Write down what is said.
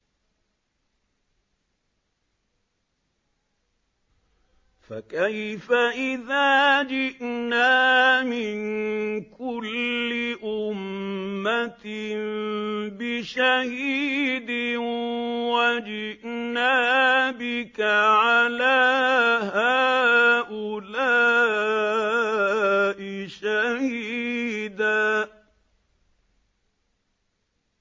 فَكَيْفَ إِذَا جِئْنَا مِن كُلِّ أُمَّةٍ بِشَهِيدٍ وَجِئْنَا بِكَ عَلَىٰ هَٰؤُلَاءِ شَهِيدًا